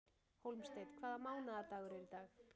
Hólmsteinn, hvaða mánaðardagur er í dag?